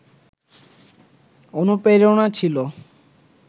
অনুপ্রেরণা ছিল